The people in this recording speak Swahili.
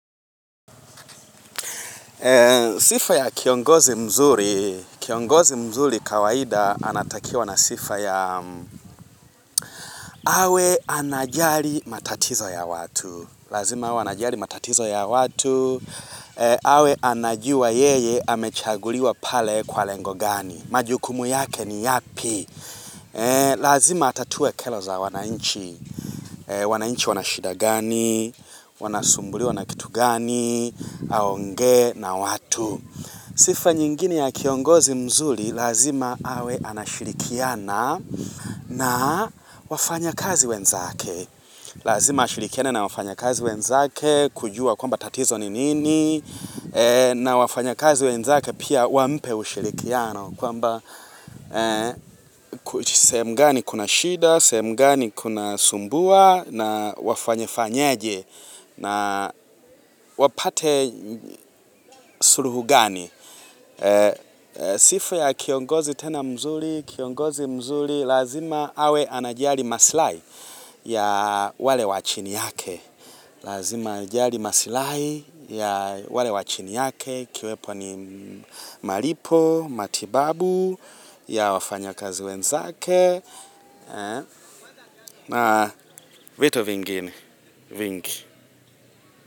Sifa ya kiongozi mzuri, kiongozi mzuri kawaida anatakiwa na sifa ya awe anajali matatizo ya watu, lazima wanajali matatizo ya watu awe anajua yeye amechaguliwa pale kwa lengo gani, majukumu yake ni yapi Lazima atatue kero za wananchi, wananchi wanashida gani, wanasumbuliwa na kitu gani, aonge na watu Sifa nyingine ya kiongozi mzuri, lazima awe anashirikiana na wafanyakazi wenzake. Lazima ashirikiane na wafanya kazi wenzake, kujua kwamba tatizo ni nini, na wafanyakazi wenzake pia wampe ushirikiano. Kwamba, sehemu gani kuna shida, sehemu gani kuna sumbua, na wafanye fanyaje, na wapate suluhu gani. Sifu ya kiongozi tena mzuri Kiongozi mzuri lazima awe anajali maslahi ya wale wa chini yake Lazima anajali maslahi ya wale wa chini yake Kiwepo ni malipo, matibabu ya wafanyakazi wenzake na vitu vingine vingi.